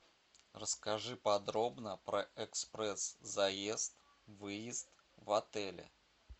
расскажи подробно про экспресс заезд выезд в отеле